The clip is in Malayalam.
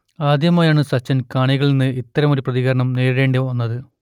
ആദ്യമായാണ് സച്ചിന് കാണികളിൽ നിന്ന് ഇത്തരമൊരു പ്രതികരണം നേരിടേണ്ടിവന്നത്